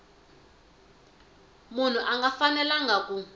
munhu a nga fanelanga ku